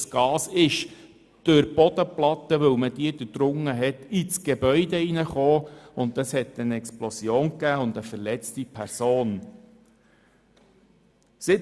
Dieses Gas gelangte durch die durchdrungene Bodenplatte in das Gebäude, sodass es zu einer Explosion mit einer verletzten Person kam.